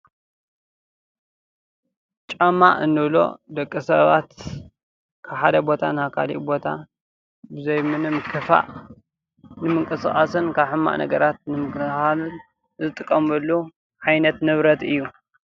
ጫማ እንብሎ ደቂሰባት ካብ ሓደ ቦታ ናብ ካሊእ ቦታ ብዘይ ምንም ክፋእ ንምንቅስቃስን ካብ ሕማቅ ነገራት ንምክልካልን ንጥቀመሉ ዓይነት ንብረት እዩ።